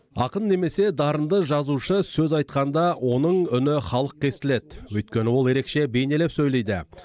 ақын немесе дарынды жазушы сөз айтқанда оның үні халыққа естілет өйткені ол ерекше бейнелеп сөйлейді